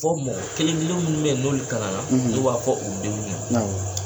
Fɔ mɔgɔ kelen kelen minnu bɛ ye n'olu kalan na n'o b'a fɔ u denw ye.